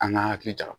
An ka hakili ja